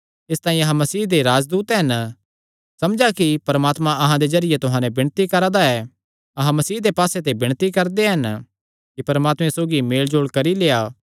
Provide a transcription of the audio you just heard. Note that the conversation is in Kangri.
इसतांई अहां मसीह दे राजदूत हन समझा कि परमात्मा अहां दे जरिये तुहां नैं विणती करा दा ऐ अहां मसीह दे पास्से ते विणती करदे हन कि परमात्मे सौगी मेलजोल करी लेआ